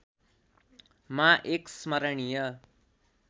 मा एक स्मरणीय